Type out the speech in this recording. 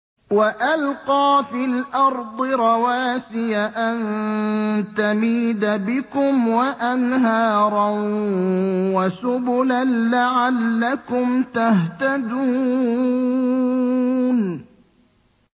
وَأَلْقَىٰ فِي الْأَرْضِ رَوَاسِيَ أَن تَمِيدَ بِكُمْ وَأَنْهَارًا وَسُبُلًا لَّعَلَّكُمْ تَهْتَدُونَ